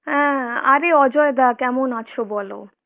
অ্যাঁ আরে অজয়দা কেমন আছো বলো?